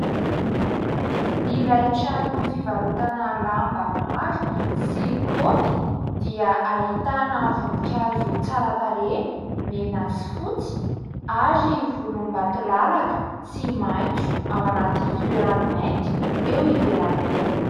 Ilay trano fivarotana lamba maro sy kaopy dia ahitana voninkazo tsara tarehy mena sy fotsy ary volombatolalaka sy maitso ao anaty fitoerany mainty eo ivelany eo.